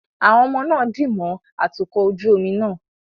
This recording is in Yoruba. Àwọn ọmọ náà dì mọ́ atukọ̀ ojú omi náà